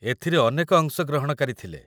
ଏଥିରେ ଅନେକ ଅଂଶଗ୍ରହଣକାରୀ ଥିଲେ